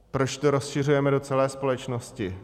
Proč to rozšiřujeme do celé společnosti?